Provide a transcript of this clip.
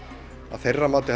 að þeirra mati